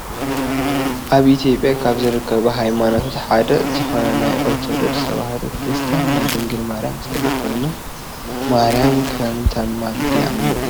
ኣብ ኢትዮጵያ ካብ ዝርከቡ ሃይማኖታት ሓደ ዝኮነ ናይ ኦርቶዶክስ ተዋህዶ ክርስትያን ናይ ድንግል ማርያም ስእሊ ኮይኑ ማርያም ከምተማልድ ይኣምን እየ።